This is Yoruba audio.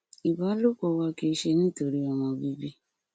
ìbálòpọ wa kìí ṣe nítorí ọmọ bíbí